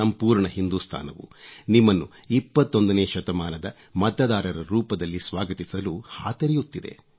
ಸಂಪೂರ್ಣ ಹಿಂದುಸ್ತಾನವು ನಿಮ್ಮನ್ನು 21ನೇ ಶತಮಾನದ ಮತದಾರರ ರೂಪದಲ್ಲಿ ಸ್ವಾಗತಿಸಲು ಹಾತೊರೆಯುತ್ತಿದೆ